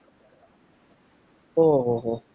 ઓહ્હ